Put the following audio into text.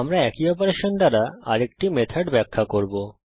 আমরা একই অপারেশন দ্বারা আরেকটি মেথড ব্যাখ্যা করব